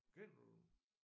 Kender du dem?